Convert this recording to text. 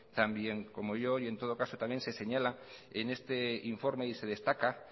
tan bien como yo y en todo case se señala en este informe y se destaca